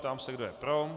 Ptám se, kdo je pro.